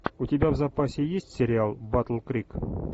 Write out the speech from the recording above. у тебя в запасе есть сериал батл крик